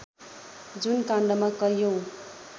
जुन काण्डमा कैयौँ